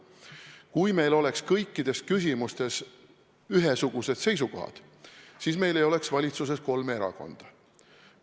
Kui meil oleks kõikides küsimustes ühesugused seisukohad, siis meil ei oleks valitsuses kolme erakonda.